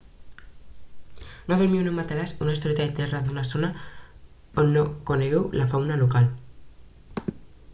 no dormiu en un matalàs o estoreta al terra d'una zona on no conegueu la fauna local